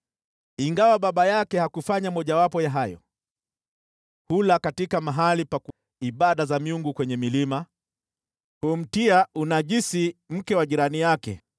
(ingawa baba yake hakufanya mojawapo ya haya): “Hula katika mahali pa ibada za miungu kwenye milima. Humtia unajisi mke wa jirani yake.